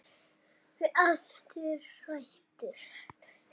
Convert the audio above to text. Verður aftur hrædd.